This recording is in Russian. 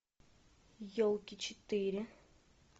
елки четыре